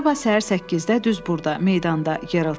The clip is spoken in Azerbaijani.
Sabah səhər 8-də düz burda, meydanda, Geralt dedi.